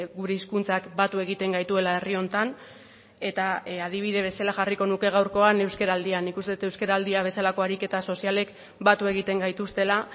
gure hizkuntzak batu egiten gaituela herri honetan eta adibide bezala jarriko nuke gaurkoan euskaraldia nik uste dut euskaraldia bezalako ariketa sozialek batu egiten gaituztela